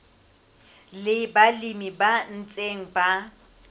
le balemi ba ntseng ba